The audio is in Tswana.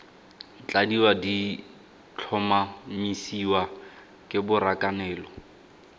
tladiwa di tlhomamisiwa ke borakanelo